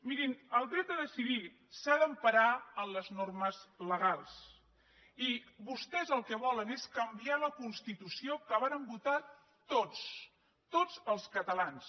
mirin el dret a decidir s’ha d’emparar en les normes legals i vostès el que volen és canviar la constitució que varen votar tots tots els catalans